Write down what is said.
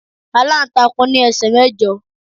Aláǹtakùn ní ẹsẹ̀ mẹ́jọ